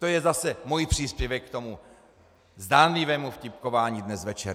To je zase můj příspěvek k tomu zdánlivému vtipkování dnes večer.